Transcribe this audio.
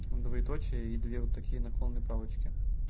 двоеточие и две вот такие наклонные палочки